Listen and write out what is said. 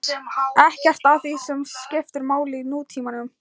Ekkert af því sem skiptir máli í nútímanum.